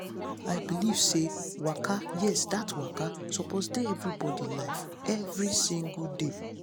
i believe say waka yes that waka suppose dey everybody life every single day.